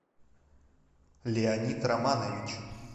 леонид романович